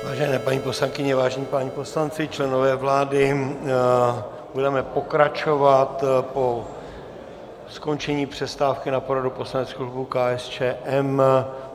Vážené paní poslankyně, vážení páni poslanci, členové vlády, budeme pokračovat po skončení přestávky na poradu poslaneckého klubu KSČM.